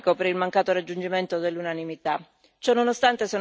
Resta il rammarico per il mancato raggiungimento dell'unanimità.